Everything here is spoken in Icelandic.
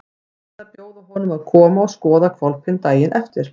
Hann ætlaði að bjóða honum að koma og skoða hvolpinn daginn eftir.